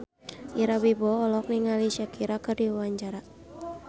Ira Wibowo olohok ningali Shakira keur diwawancara